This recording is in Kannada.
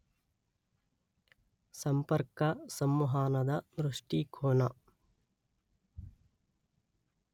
ಸಂಪರ್ಕ, ಸಂವಹನದ ದೃಷ್ಟಿಕೋನ